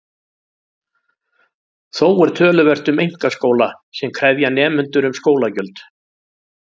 Þó er töluvert um einkaskóla sem krefja nemendur um skólagjöld.